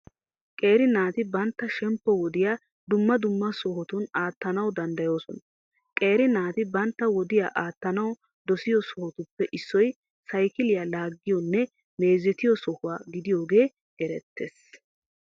Qeera naati bantta shemppo wodiya dumma dumma sohotun aattanawu danddayoosona. Qeera naati bantta wodiya aattanawu dosiyo sohotuppe issoy saykiliya laaggiyonne meezetiyo sohuwa gidiyogee erettees.